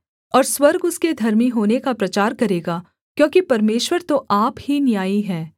और स्वर्ग उसके धर्मी होने का प्रचार करेगा क्योंकि परमेश्वर तो आप ही न्यायी है सेला